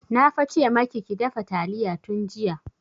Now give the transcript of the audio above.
Na fa ce maki ki dafa taliya tun jiya!